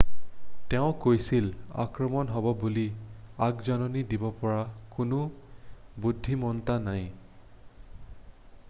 "তেওঁ কৈছিল "আক্ৰমণ হ'ব বুলি আগজাননী দিব পৰা কোনো বুদ্ধিমত্তা নাই।""